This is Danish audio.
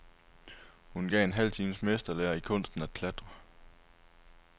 Hun gav en halv times mesterlære i kunsten at klatre.